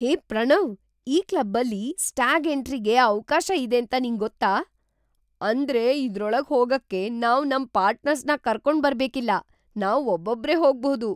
ಹೇ ಪ್ರಣವ್, ಈ ಕ್ಲಬ್ಬಲ್ಲಿ ಸ್ಟ್ಯಾಗ್ ಎಂಟ್ರಿಗೆ ಅವ್ಕಾಶ ಇದೇಂತ ನಿಂಗೊತ್ತಾ? ಅಂದ್ರೆ ಇದ್ರೊಳಗ್‌ ಹೋಗಕ್ಕೆ ನಾವು ನಮ್‌ ಪಾರ್ಟ್ನರ್ಸ್‌ನ ಕರ್ಕೊಂಡ್ಬರ್ಬೇಕಿಲ್ಲ, ನಾವ್‌ ಒಬ್ಬೊಬ್ರೇ ಹೋಗ್ಬಹುದು!